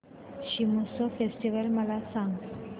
Shigmotsav festival मला सांग